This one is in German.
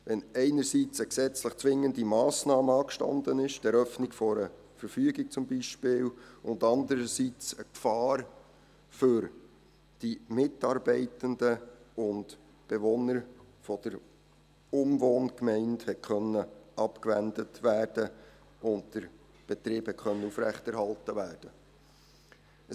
Dies, wenn zum einen eine gesetzlich zwingende Massnahme angestanden hat – die Eröffnung einer Verfügung beispielsweise – und zum anderen eine Gefahr für die Mitarbeitenden und Bewohner der Umwohngemeinde hat abgewendet und der Betrieb aufrechterhalten werden können.